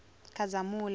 khazamula